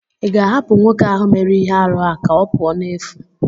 ị ga-ahapụ nwoke ahụ mere ihe arụ a ka ọ pụọ n'efu?